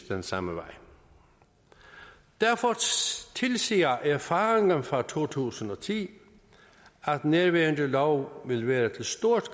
den samme vej derfor tilsiger erfaringerne fra to tusind og ti at nærværende lov vil være til stor